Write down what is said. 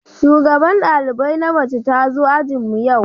Shugaban dalibai na mace ta zo ajin mu yau.